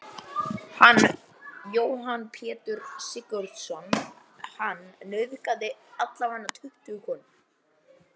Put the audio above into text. Hvernig var andlega hliðin í gegnum þetta allt saman?